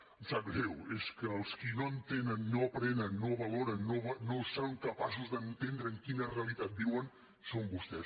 em sap greu és que els qui no entenen no aprenen no valoren no són capaços d’entendre en quina realitat viuen són vostès